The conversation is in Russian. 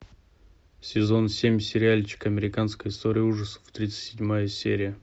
сезон семь сериальчик американская история ужасов тридцать седьмая серия